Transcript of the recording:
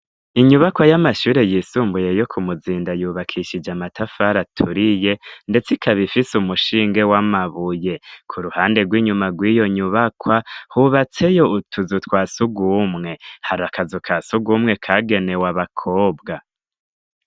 Inyubakwa y'amashure yisumbuye yo kumuzinda yubakishije amatafari aturiye ndetse ikab'ifise umushinge w'amabuye. K'uruhande rw'inyuma rw'iyonyubakwa hubatseyo utuzu twasugumwe. Har'akazu kasugwumwe kagenewe abakobwa.